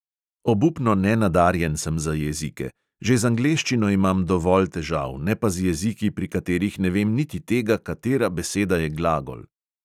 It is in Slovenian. Obupno nenadarjen sem za jezike, že z angleščino imam dovolj težav, ne pa z jeziki, pri katerih ne vem niti tega, katera beseda je glagol!